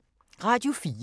Radio 4